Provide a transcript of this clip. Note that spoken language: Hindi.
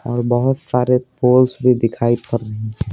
और बहुत सारे पोल्स भी दिखाई--